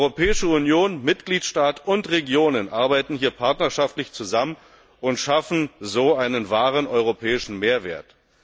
Europäische Union, Mitgliedstaaten und Regionen arbeiten hier partnerschaftlich zusammen und schaffen so einen wahren europäischen Mehrwert.